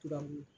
Tubabu